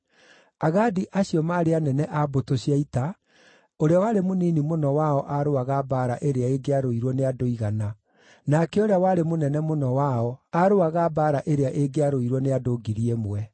Agadi acio maarĩ anene a mbũtũ cia ita; ũrĩa warĩ mũnini mũno wao aarũaga mbaara ĩrĩa ĩngĩarũirwo nĩ andũ igana, nake ũrĩa warĩ mũnene mũno wao aarũaga mbaara ĩrĩa ĩngĩarũirwo nĩ andũ ngiri ĩmwe.